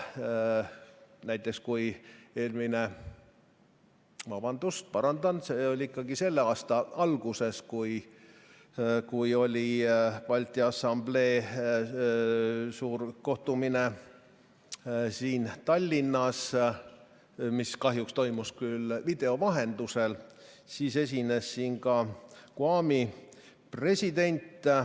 Näiteks, selle aasta alguses, kui oli Balti Assamblee suur kohtumine siin Tallinnas, mis kahjuks toimus küll video vahendusel, siis esines siin ka GUAM-i president.